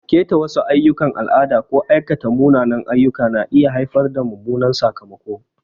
Ƙeta wasu ayyukan al'ada ko aikata munanan ayyuka na iya haifar da mummunan sakamako.